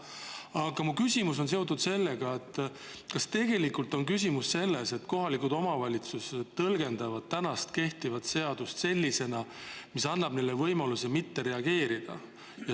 Aga mu küsimus on seotud sellega, kas tegelikult on asi selles, et kohalikud omavalitsused tõlgendavad kehtivat seadust sellisena, mis annab neile võimaluse mitte reageerida.